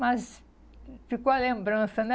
Mas ficou a lembrança, né?